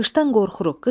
Qışdan qorxuruq.